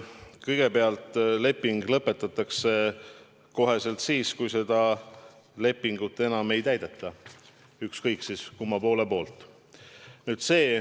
Kõigepealt, leping lõpetatakse kohe, kui seda lepingut enam ei täideta – ükskõik kumma poole poolt.